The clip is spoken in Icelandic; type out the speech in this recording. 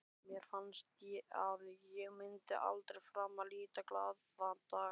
Mér fannst að ég myndi aldrei framar líta glaðan dag.